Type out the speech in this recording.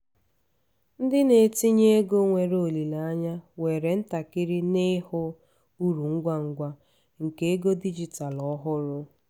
ndị na-etinye ego nwere olileanya were ntakịrị n'ịhụ uru ngwa ngwa nke ego dijitalụ ọhụrụ.